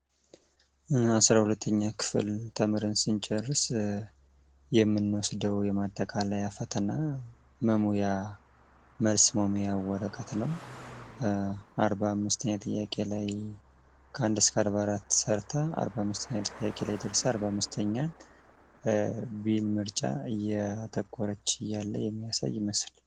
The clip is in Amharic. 12ኛ ክፍል ተምረን ስንጨርስ የምንወስደው የማጠቃለያ ፈተና መሙያ መልስ መሙያ ወረቀት ነው። 45ኛ ጥያቄ ላይ ከ1 እስከ44 ሰርታ 45ኛ ጥያቄ ላይ ደርሳ 45ኛ ቢ ምርጫ እያጠቆረች እያለ የሚያሳይ ምስል ነው።